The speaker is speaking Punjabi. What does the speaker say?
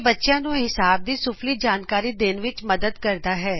ਬੱਚਿਆਂ ਨੂੰ ਹਿਸਾਬ ਦੀ ਮੁਡਲੀ ਜਾਣਕਾਰੀ ਦੇਨ ਵਿਚ ਮਦਦ ਕਰਦਾ ਹੈ